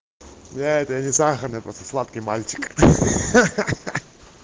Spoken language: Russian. да это не сахарный просто сладкий мальчик